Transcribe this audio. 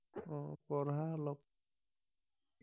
অ পঢ়া অলপ